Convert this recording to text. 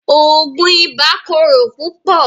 Oogun ìbà kòrò púpọ̀